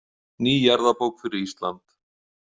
Ný jarðabók fyrir Ísland.